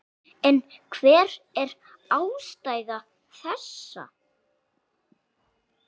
En hver er ástæða þessa?